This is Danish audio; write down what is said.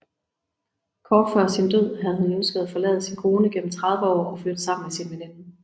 Kort før sin død havde han ønsket at forlade sin kone gennem 30 år og flytte sammen med sin veninde